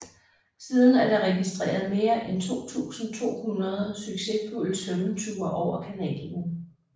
Siden er der registreret mere end 2200 succesfulde svømmeture over kanalen